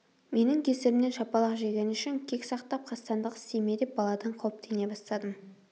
менің кесірімнен шапалақ жегені үшін кек сақтап қастандық істей ме деп баладан қауіптене бастадым